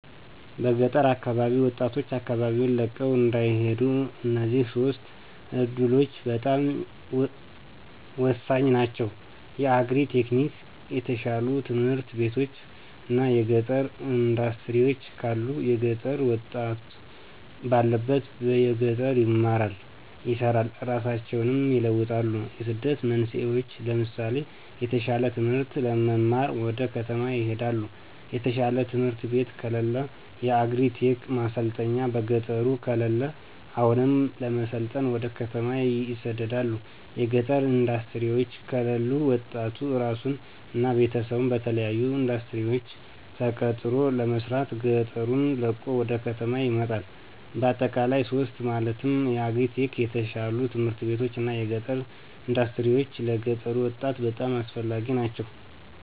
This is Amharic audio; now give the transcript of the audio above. በገጠር አካባቢ ወጣቶች አካባቢወን ለቀው እንዳይሄዱ እነዚህ ሶስቱ እዱሎች በጣም ሆሳኝ ናቸው። የአግሪ-ቴክኒክ፣ የተሻሉ ትምህርት ቤቶች እና የገጠር እንዳስትሪወች ካሉ የገጠሩ ወጣት ባሉበት በገጠር ይማራሉ፣ ይሰራሉ እራሳቸውን ይለውጣሉ። የስደት መንስኤወች ለምሳሌ የተሻለ ትምህርት ለመማር ወደ ከተማ ይሄዳሉ። የተሻለ ትምህርት ቤት ከለለ። የአግሪ-ቴክ ማሰልጠኛ በገጠሩ ከለለ አሁንም ለመሰልጠን ወደ ከተማ ይሰደዳሉ። የገጠር እንዳስትሪወች ከለሉ ወጣቱ እራሱን እና ቤተሰቡን በተለያሉ እንዳስትሪወች ተቀጥሮ ለመስራት ገጠሩን ለቆ ወደ ከተማ ይመጣል። በአጠቃላይ ሶስቱ ማለትም የአግሪ-ቴክ፣ የተሻሉ ት/ቤቶች እና የገጠር እንዳስትሪወች ለገጠሩ ወጣት በጣም አስፈላጊ ናቸው።